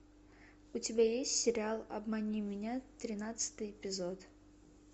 у тебя есть сериал обмани меня тринадцатый эпизод